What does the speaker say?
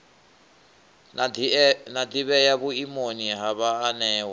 na ḓivhea vhuimoni ha vhaanewa